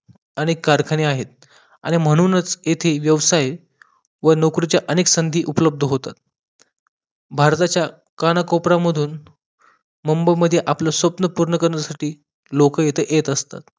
अनेक खरखाने आहेत आणि म्हणूनच येथील व्यवसाय आहे व नोकराची अनेक संधी उपलब्ध होतात भारताच्या कान्याकोपऱ्यामधून मुंबई मध्ये आपलं स्वप्न पूर्ण करण्यासाठी लोकं इथं येत असतात